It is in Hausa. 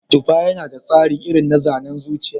Tufa yana da tsari irin na zanen zuciya.